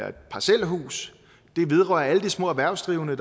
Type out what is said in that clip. et parcelhus det vedrører alle de små erhvervsdrivende